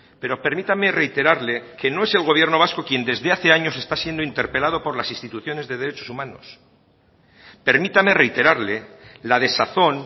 pero permítame reiterarle que no es el gobierno vasco quien desde hace años está siendo interpelado por las instituciones de derechos humanos permítame reiterarle la desazón